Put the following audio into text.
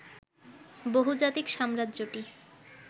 বহুজাতিক সাম্রাজ্যটি